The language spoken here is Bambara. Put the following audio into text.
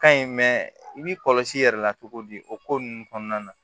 Ka ɲi i b'i kɔlɔsi i yɛrɛ la cogo di o ko ninnu kɔnɔna na